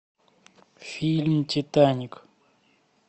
фильм титаник